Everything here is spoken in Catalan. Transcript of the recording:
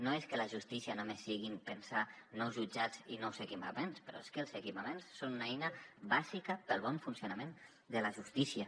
no és que la justícia només sigui pensar en nous jutjats i nous equipaments però és que els equipaments són una eina bàsica per al bon funcionament de la justícia